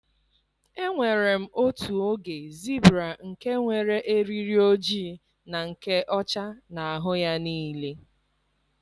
Enwere m otu oge zibra nke nwere eriri ojii na nke ọcha n'ahụ ya niile.